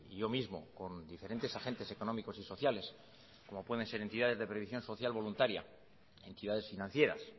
yo mismo con diferentes agentes económicos y sociales como pueden ser entidades de previsión social voluntaria entidades financieras